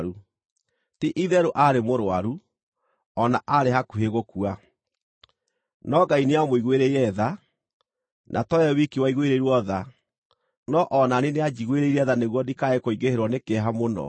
Ti-itherũ aarĩ mũrũaru, o na aarĩ hakuhĩ gũkua. No Ngai nĩamũiguĩrĩire tha, na to we wiki waiguĩrĩirwo tha, no o na niĩ nĩanjiguĩrĩire tha nĩguo ndikae kũingĩhĩrwo nĩ kĩeha mũno.